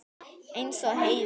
Eins og Heiða.